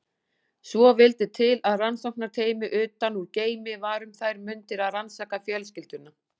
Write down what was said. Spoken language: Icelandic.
Svo vildi til að rannsóknarteymi utan úr geimi var um þær mundir að rannsaka fjölskylduna.